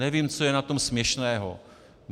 Nevím, co je na tom směšného!